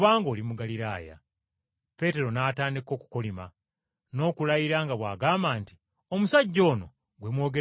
Peetero n’atandika, okukolima n’okulayira nga bw’agamba nti, “Omusajja ono gwe mwogerako, simumanyi.”